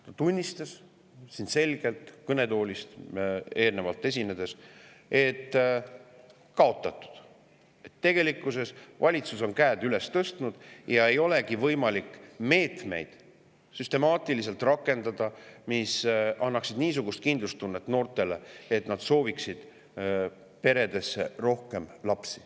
Ta tunnistas selgelt enne siit kõnetoolist esinedes, et tegelikkuses on valitsus käed üles tõstnud ja ei olegi võimalik süstemaatiliselt rakendada meetmeid, mis annaksid noortele niisugust kindlustunnet, et nad sooviksid peredesse rohkem lapsi.